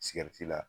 Sigɛriti la